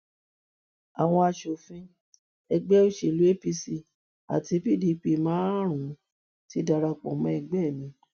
àwọn asòfin ẹgbẹ òsèlú apc àti pdp márùnún ti darapọ mọ ẹgbẹ mi